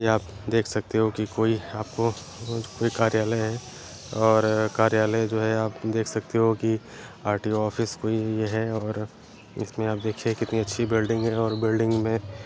यह आप देख सकते हो की कोई आपको अ-कोई कार्यालय है और कार्यालय जो है आप देख सकते हो कि आर.टी.ओ ऑफिस कोई है और इसे आप देखिये कितनी अच्छी बिल्डिंग है और बिल्डिंग मे --